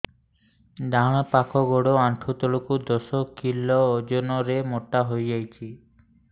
ଡାହାଣ ପାଖ ଗୋଡ଼ ଆଣ୍ଠୁ ତଳକୁ ଦଶ କିଲ ଓଜନ ର ମୋଟା ହେଇଯାଇଛି